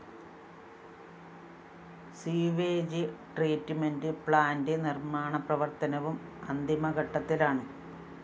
sewerage treatment plant നിര്‍മ്മാണ പ്രവര്‍ത്തനവും അന്തിമഘട്ടത്തിലാണ്